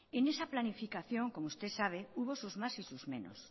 en esa planificación como usted sabe hubo sus más y sus menos